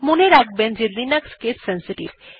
মনে রাখবেন যে লিনাক্স কেস সেনসিটিভ